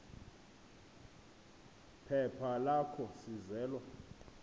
phepha lakho sizelwa